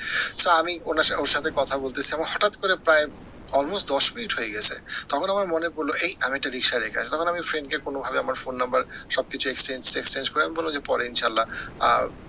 so আমি ওনার ওর সাথে কথা বলতেসি আমার হটাৎ করে প্রায় almost দশ মিনিট হয়ে গেছে তখন আমার মনে পড়লো এই আমি একটা রিক্সা রেখে আসছি তখন আমি friend কে কোনোভাবে আমার ফোন নম্বর সব কিছু exchange টেক্সচেঞ্জ করে আমি বললাম যে পরে ইনশাল্লাহ আহ